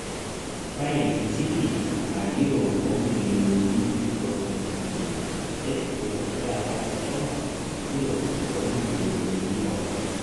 Fain e City aa yuro omilionini ntomoni uni netudung'oki taata meshomo yuro omilionini tomon